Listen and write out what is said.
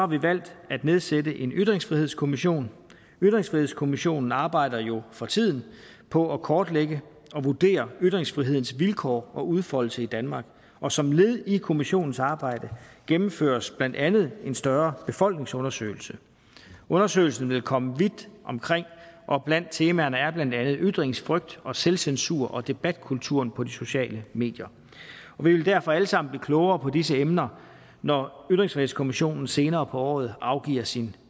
vi valgt at nedsætte en ytringsfrihedskommission ytringsfrihedskommissionen arbejder jo for tiden på at kortlægge og vurdere ytringsfrihedens vilkår og udfoldelse i danmark og som led i kommissionens arbejde gennemføres blandt andet en større befolkningsundersøgelse undersøgelsen vil komme vidt omkring og blandt temaerne er blandt andet ytringsfrygt og selvcensur og debatkulturen på de sociale medier vi vil derfor alle sammen blive klogere på disse emner når ytringsfrihedskommissionen senere på året afgiver sin